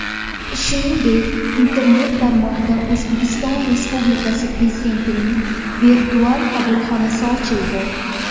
Shuningdek, Internet tarmog‘ida O‘zbekiston Respublikasi Prezidentining Virtual qabulxonasi ochildi.